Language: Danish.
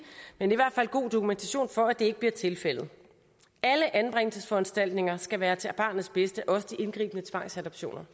eller i fald god dokumentation for at det ikke bliver tilfældet alle anbringelsesforanstaltninger skal være til barnets bedste også de indgribende tvangsadoptioner